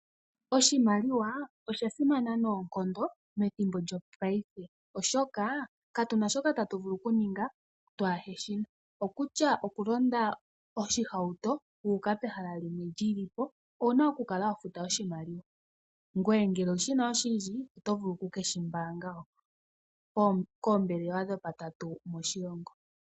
Oshimaliwa osha simana noonkondo methimbo lyopaife, oshoka, katuna shoka tatu vulu oku ninga twaaheshina. Okutya oku londa oshihauto wuuka pehala limwe lyilipo owuna oku kala wa futa oshimaliwa. Ngweye ngele oshimaliwa oshindji oto vulu oku keshi mbaanga koombelewa dopatatu moshilongo.